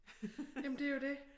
Jamen det jo det